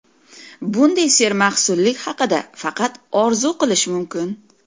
Bunday sermahsullik haqida faqat orzu qilish mumkin.